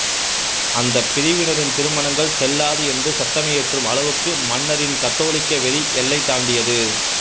அந்தப் பிரிவினரின் திருமணங்கள் செல்லாது என்று சட்டமியற்றும் அளவுக்கு மன்னரின் கத்தோலிக்க வெறி எல்லை தாண்டியது